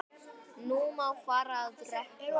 Nú má fara að rökkva.